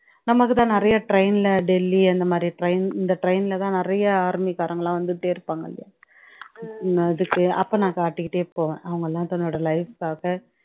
நமக்கு தான் நிறைய train ல டெல்லி அந்தமாதிரி train இந்த train ல தான் நிறையா army காரங்க எல்லாம் வந்துக்குட்டே இருப்பாங்க அங்க அதுக்கு அப்போ நான் காட்டிக்கிட்டே போவேன் அவங்க எல்லாம் தன்னோட life காக